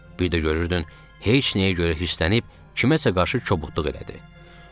Biri də görürdün heç nəyə görə hisslənib, kiməsə qarşı kobudluq elədi.